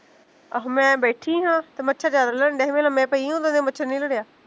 ਆਹਾਂ ਮੈਂ ਬੈਠੀ ਹਾਂ, ਤੇ ਮੱਛਰ ਜਿਆਦਾ ਲੜਨ ਡਿਆ ਸੀ, ਮੈਂ ਲਮੇ ਪਈ ਉਦੋਂ ਦਾ ਮੱਛਰ ਨੀ ਲੜਿਆ